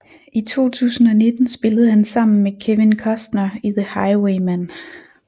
I 2019 spillede han sammen med Kevin Costner i The Highwaymen